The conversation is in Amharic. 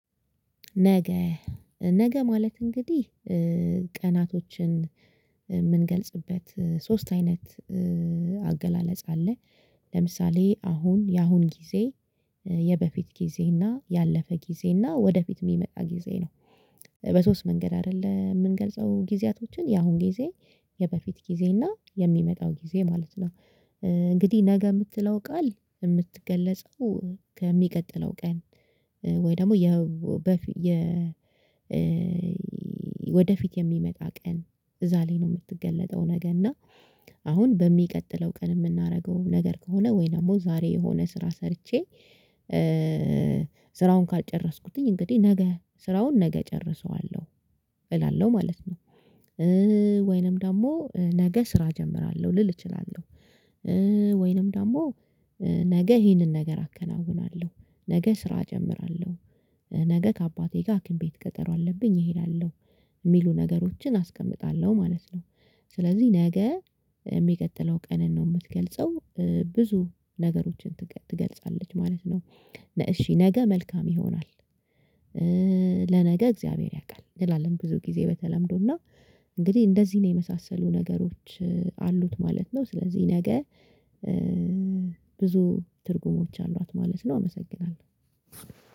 ነገ ነገ ማለት እንግዲህ ቀናቶችን የምንገልጽበት ሶስት አይነት አገላለጽ አለ። ለምሳሌ አሁን የአሁን ጊዜ የበፊት ጊዜ እና ያለፈ ጊዜ እና ወደፊት የሚመጣ ጊዜ ነው። በሶስት መንገድ አይደለም የምንገልጸው ጊዜያቶችን ያሁን ጊዜ የበፊት ጊዜ እና የሚመጣው ጊዜ ማለት ነው። እንግዲህ ነገ የምትለው ቃል የምትገለጸው ከሚቀጥለው ቀን ወይ ደግሞ የ በፊት የ ወደፊት የሚመጣ ቀን እዛ ላይ ነው የምትገለጠው ነገር እና። አሁን በሚቀጥለው ቀን የምናደርገው ነገር ከሆነ ወይንም ዛሬ የሆነ ስራ ሰርቼ ስራውን ካጨረስኩትኝ እንግዲህ ነገ ስራውን ነገ እጨርሰዋለሁ እላለሁ ማለት ነው። ወይንም ደግሞ ነገ ስራ እጀምራለሁ ልል እችላለሁ። ወይንም ደግሞ ነገ ይሄንን ነገር አከናውናለሁ። ነገ ስራ እጀምራለሁ። ነገ ከአባቴ ጋር ሀኪም ቤት ቀጠሮ አለብኝ እሄዳለሁ የሚሉ ነገሮችን አስቀምጣለሁ ማለት ነው። ስለዚህ ነገ የሚቀጥለው ቀንን ነው የምትገልጸው ብዙ ነገሮችን ትገልጻለች ማለት ነው። እሺ ነገ መልካም ይሆናል። ለነገ እግዚአብሔር ያውቃል እንላለን ብዙ ጊዜ በተለምዶና እንግዲህ እንደዚህን የመሳሰሉ ነገሮች አሉት ማለት ነው። ስለዚህ ነገ ብዙ ትርጉሞች አሏት ማለት ነው። አመሰግናለሁ።